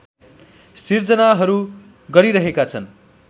सिर्जनाहरू गरिरहेका छन्